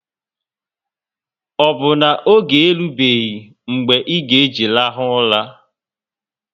O bu na oge erubeghi mgbe e ga eji rahu ụra?